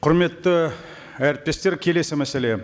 құрметті әріптестер келесі мәселе